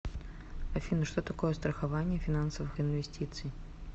афина что такое страхование финансовых инвестиций